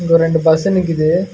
இங்க ஒரு ரெண்டு பஸ் நிக்குது.